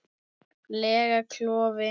lega klofi.